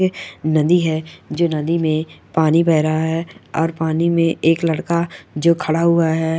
नदी है जो नदी में पानी बह रहा है और पानी में एक लड़का जो खड़ा हुआ है।